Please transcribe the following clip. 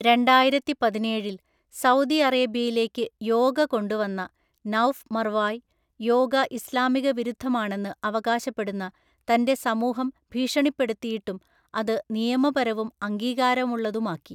രണ്ടായിരത്തിപതിനേഴില്‍ Saudi അറേബ്യയിലേക്ക് യോഗ കൊണ്ടുവന്ന Nouf Marwaai, yoga ഇസ്ലാമിക വിരുദ്ധമാണെന്ന് അവകാശപ്പെടുന്ന തന്‍റെ സമൂഹം ഭീഷണിപ്പെടുത്തിയിട്ടും അത് നിയമപരവും അംഗീകാരമുള്ളതുമാക്കി.